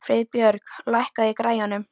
Friðbjörg, lækkaðu í græjunum.